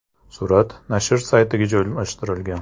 Surat nashr saytiga joylashtirilgan .